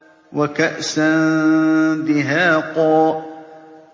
وَكَأْسًا دِهَاقًا